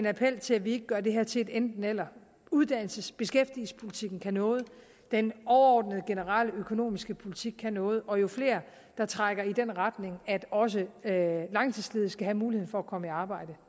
appellere til at vi ikke gør det her til et enten eller uddannelses og beskæftigelsespolitikken kan noget den overordnede generelle økonomiske politik kan noget og jo flere der trækker i den retning at også langtidsledige skal have muligheden for at komme i arbejde